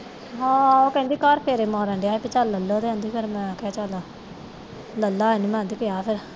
ਹਾਂ ਉਹ ਕਹਿੰਦੀ ਘਰ ਤੇਰੇ ਨਾਲ ਰਹਿੰਦਾ ਤੇ ਪਹਿਲਾ ਲੇਲੋ ਰਹਿੰਦੀ ਫਿਰ ਮੈਂ ਕਿਹਾ ਚੱਲ ਲੈ ਲਾ ਹੁਣ ਮੰਗ ਪਿਆ ਵਾ